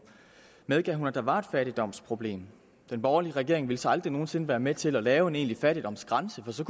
medgav hun at der var et fattigdomsproblem den borgerlige regering ville så aldrig nogen sinde være med til at lave en egentlig fattigdomsgrænse så